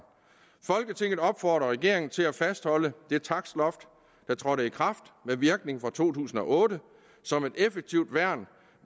folketinget opfordrer regeringen til at fastholde det takstloft der trådte i kraft med virkning fra to tusind og otte som et effektivt værn